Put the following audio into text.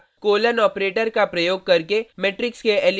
colon operator का प्रयोग करके मेट्रिक्स के एलीमेंट को एक्सेस करना